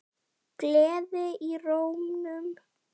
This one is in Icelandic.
Gleði í rómnum.